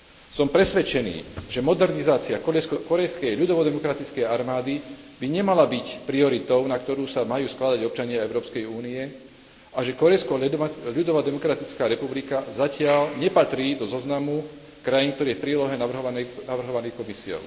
Som presvedčený, že modernizácia Kórejskej ľudovodemokratickej armády by nemala byť prioritou, na ktorú sa majú skladať občania Európskej únie, a že Kórejská ľudovodemokratická republika zatiaľ nepatrí do zoznamu krajín, ktoré v prílohe navrhovala Komisia.